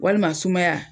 Walima sumaya